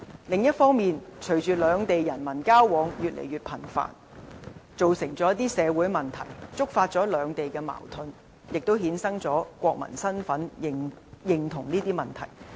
另一方面，隨着兩地人民交往越來越頻繁，造成了一些社會問題，觸發兩地矛盾，亦衍生了國民身份認同的問題。